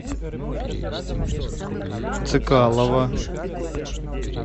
цикалова